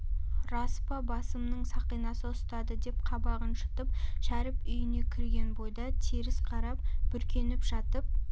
рас па басымның сақинасы ұстады деп қабағын шытып шәріп үйіне кірген бойда теріс қарап бүркеніп жатып